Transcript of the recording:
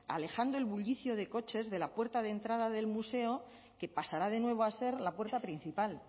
alejando el bullicio de coches de la puerta de entrada del museo que pasará de nuevo a ser la puerta principal